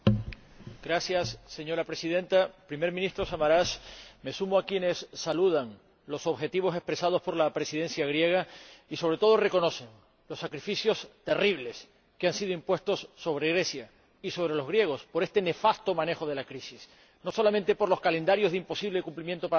Señora Presidenta, Primer ministro Samaras, me sumo a quienes saludan los objetivos expresados por la Presidencia griega y, sobre todo, reconocen los sacrificios terribles que han sido impuestos sobre Grecia y sobre los griegos, por este nefasto manejo de la crisis, no solamente por los calendarios de imposible cumplimiento para la reducción de la deuda,